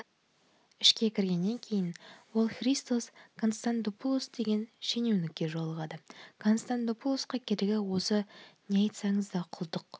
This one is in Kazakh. ішке кіргеннен кейін ол христос констандопулос деген шенеунікке жолығады констандопулоске керегі осы не айтсаңыз да құлдық